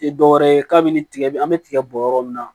Tɛ dɔwɛrɛ ye k'a min tigɛ an bɛ tiga bɔ yɔrɔ min na